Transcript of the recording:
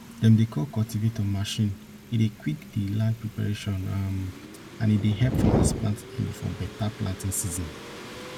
dem dey call cultivator machine e dey quick di land preparation um and e dey help farmers plant early for better planting season